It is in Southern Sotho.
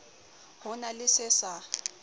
ho na le se sa